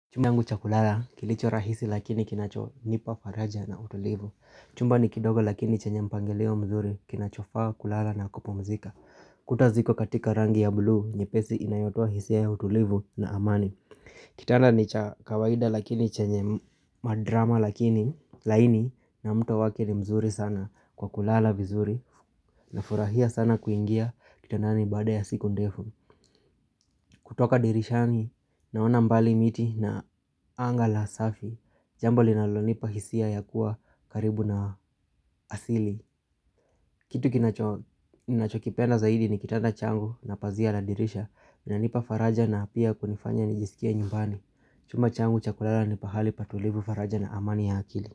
Chumangu cha kulala kilicho rahisi lakini kinacho nipa faraja na utulivu Chumba ni kidogo lakini chenye mpangeleo mzuri kinachofaa kulala na kupumzika Kuta ziko katika rangi ya blu nye pesi inayotoa hisia ya utulivu na amani Kitanda ni cha kawaida lakini chenye madrama lakini laini na mto waki ni mzuri sana kwa kulala vizuri na furahia sana kuingia kitandani bada ya siku ndefu kutoka dirishani naona mbali miti na anga la safi Jambo linalonipa hisia ya kuwa karibu na asili kitu kinachokipenda zaidi ni kitanda changu na pazia la dirisha. Linanipa faraja na pia kunifanya nijisikia nyumbani chuma changu chakulala ni pahali patulivu faraja na amani ya akili.